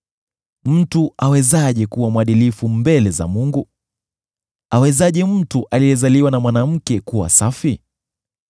Mtu awezaje kuwa mwadilifu mbele za Mungu? Awezaje mtu aliyezaliwa na mwanamke kuwa safi?